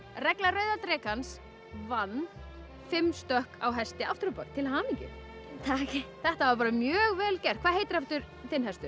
regla rauða drekans vann fimm stökk á hesti aftur á bak til hamingju takk þetta var mjög vel gert hvað heitir aftur þinn hestur